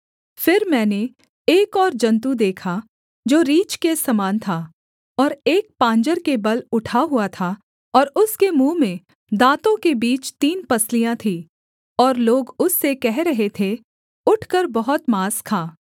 फिर मैंने एक और जन्तु देखा जो रीछ के समान था और एक पाँजर के बल उठा हुआ था और उसके मुँह में दाँतों के बीच तीन पसलियाँ थीं और लोग उससे कह रहे थे उठकर बहुत माँस खा